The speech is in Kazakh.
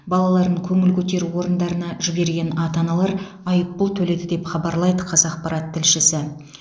балаларын көңіл көтеру орындарына жіберген ата аналар айыппұл төледі деп хабарлайды қазақпарат тілшісі